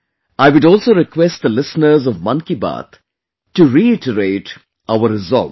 I would also request the listeners of 'Mann Ki Baat' to reiterate our resolves